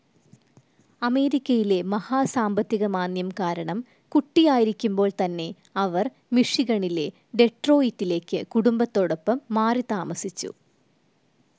അമേരിക്കയിലെ മഹാസാമ്പത്തികമാന്ദ്യം കാരണം, കുട്ടിയായിരിക്കുമ്പോൾ തന്നെ അവർ മിഷിഗണിലെ ഡെട്രോയിറ്റിലേക്കു കുടുംബത്തോടൊപ്പം മാറിത്താമസിച്ചു.